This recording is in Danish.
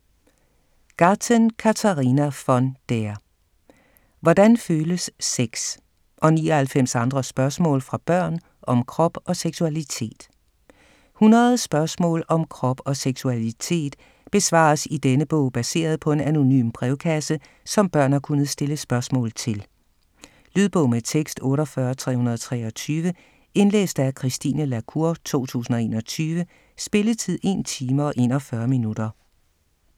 Gathen, Katharina von der: Hvordan føles sex?: og 99 andre spørgsmål fra børn om krop og seksualitet 100 spørgsmål om krop og seksualitet besvares i denne bog baseret på en anonym brevkasse, som børn har kunnet stille spørgsmål til. Lydbog med tekst 48323 Indlæst af Christine La Cour, 2021. Spilletid: 1 time, 41 minutter.